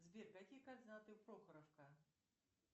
сбер какие координаты прохоровка